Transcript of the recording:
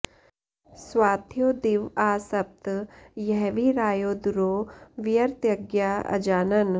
स्वाध्यो दिव आ सप्त यह्वी रायो दुरो व्यृतज्ञा अजानन्